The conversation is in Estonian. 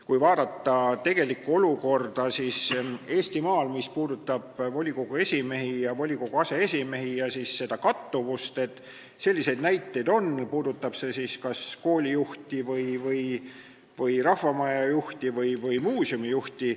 Kui vaadata tegelikku olukorda Eestimaal, mis puudutab volikogu esimehi ja aseesimehi ning seda kattuvust, siis selliseid näiteid on, puudutab see siis kas koolijuhti, rahvamajajuhti või muuseumijuhti.